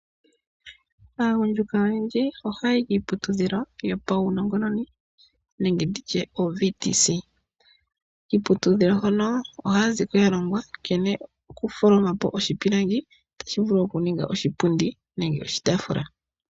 Aagundjuka oyendji ohaya yi kiiputudhilo yopaunongononi nenge nditye oVTC. Kiiputudhilo hono ohaya zi ko ya longwa nkene oku tholoma po oshipilangi tashi vulu oku ninga oshipundi nenge oshitaafula.